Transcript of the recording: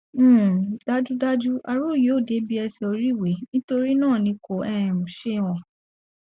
um dájúdájú aró yìí ò débi ẹṣẹ oríiwe torí náà ni kò um ṣe hàn